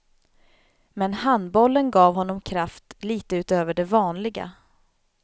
Men handbollen gav honom kraft lite utöver det vanliga.